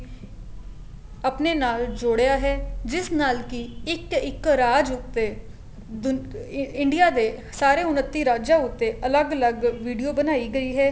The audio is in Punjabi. ਆਪਣੇ ਨਾਲ ਜੋੜਿਆ ਹੈ ਜਿਸ ਨਾਲ ਕੀ ਇੱਕ ਇੱਕ ਰਾਜ ਉੱਤੇ ਦੂਨ India ਦੇ ਸਾਰੇ ਉਨੱਤੀ ਰਾਜਾ ਉੱਤੇ ਅਲੱਗ ਅਲੱਗ video ਬਣਾਈ ਗਈ ਹੈ